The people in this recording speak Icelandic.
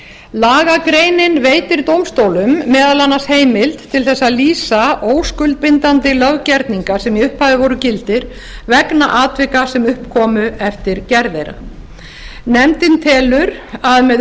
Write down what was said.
lagagreinin veitir dómstólum meðal annars heimild til þess að lýsa óskuldbindandi löggerninga sem í upphafi voru gildir vegna atvika sem upp komu eftir gerð þeirra nefndin telur að með